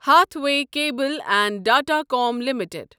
Hathway cable and datacom limited